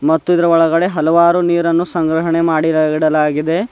ಮತ್ತು ಇದರ ಒಳಗಡೆ ಹಲವಾರು ನೀರನ್ನು ಸಂಗ್ರಹಣೆ ಮಾಡಿ ಇಡಲಾಗಿದೆ.